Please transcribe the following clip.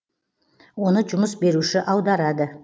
оны жұмыс беруші аударады